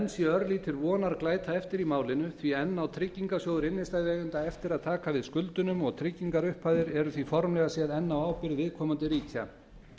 enn sé örlítil vonarglæta eftir í málinu því enn á tryggingarsjóður innstæðueigenda eftir að taka við skuldunum og tryggingarupphæðirnar eru því formlega séð enn á ábyrgð viðkomandi ríkja